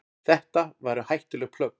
Þetta væru hættuleg plögg.